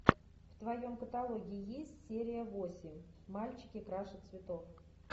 в твоем каталоге есть серия восемь мальчики краше цветов